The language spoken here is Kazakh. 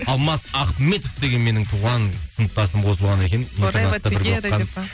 алмас ахметов деген менің туған сыныптасым қосылған екен